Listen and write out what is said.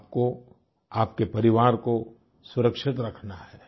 आपको आपके परिवार को सुरक्षित रखना है